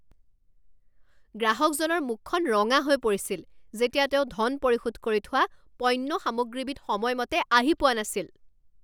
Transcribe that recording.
গ্ৰাহকজনৰ মুখখন ৰঙা হৈ পৰিছিল যেতিয়া তেওঁ ধন পৰিশোধ কৰি থোৱা পণ্য সামগ্ৰীবিধ সময়মতে আহি পোৱা নাছিল।